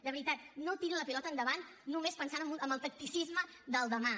de veritat no tiri la pilota endavant només pensant amb el tacticisme del demà